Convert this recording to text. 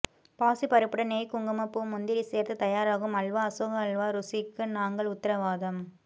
பாசி பருப்புடன் நெய் குங்கும பூ முந்திரி சேர்த்து தயாராகும் அல்வா அசோகா அல்வா ருசிக்கு நாங்கள் உத்திரவாதம்